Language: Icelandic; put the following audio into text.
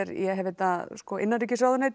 ég hef þetta innanríkisráðuneytið